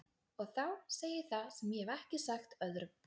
Og þá segi ég það sem ég hef ekki sagt öðrum.